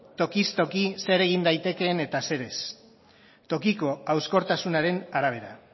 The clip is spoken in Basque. tokiz toki zer egin daitekeen eta zer ez tokiko hauskortasunaren arabera